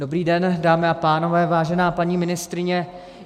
Dobrý den, dámy a pánové, vážená paní ministryně.